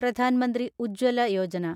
Pradhan Mantri Ujjwala Yojana